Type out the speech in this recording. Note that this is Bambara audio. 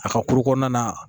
A ka kulu kɔnɔna na